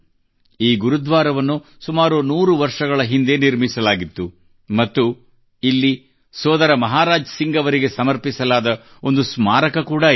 ಈ ಗುರುದ್ವಾರವನ್ನು ಸುಮಾರು ನೂರು ವರ್ಷಗಳ ಹಿಂದೆ ನಿರ್ಮಿಸಲಾಗಿತ್ತು ಮತ್ತು ಇಲ್ಲಿ ಸೋದರ ಮಹಾರಾಜ್ ಸಿಂಗ್ ಅವರಿಗೆ ಸಮರ್ಪಿಸಲಾದ ಒಂದು ಸ್ಮಾರಕ ಕೂಡಾ ಇದೆ